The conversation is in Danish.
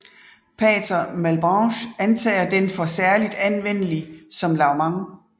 Pater Malebranche antager den for særlig anvendelig som lavement